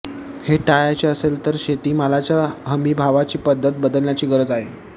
हे टाळायचे असेल तर शेतीमालाच्या हमीभावाची पद्धत बदलण्याची गरज आहे